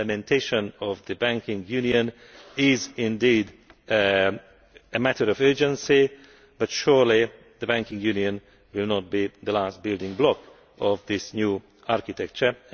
The implementation of the banking union is indeed a matter of urgency, but surely the banking union will not be the last building block of this new architecture.